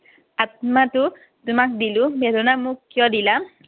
আত্মাটো তোমাক দিলো, বেদনা মোক কিয় দিলা?